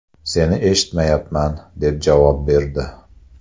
Seni eshitmayman’, deb javob berdi.